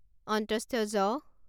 য